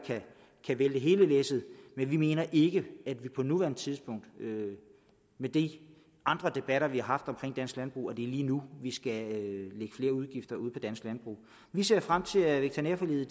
kan vælte hele læsset men vi mener ikke at det på nuværende tidspunkt med med de andre debatter vi har haft omkring dansk landbrug er lige nu vi skal lægge flere udgifter ud på dansk landbrug vi ser frem til at veterinærforliget